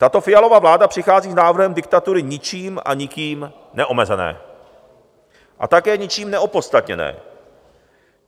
Tato Fialova vláda přichází s návrhem diktatury ničím a nikým neomezené a také ničím neopodstatněné.